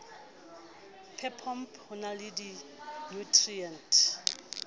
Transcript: phepompe ho na le dinutriente